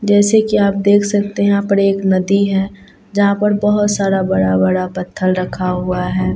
जैसे की आप देख सकते हैं यहां पर एक नदी है जहां पर बहोत सारा बड़ा बड़ा पत्थर रखा हुआ हैं।